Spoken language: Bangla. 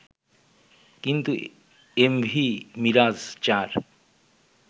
কিন্তু এমভি মিরাজ-৪